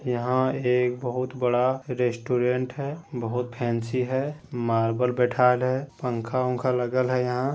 यहां एक बहुत बड़ा रेस्टोरेंट है बहुत फैंसी है मार्बल बैठायल है पंखा उनखा लगल हेय यहां।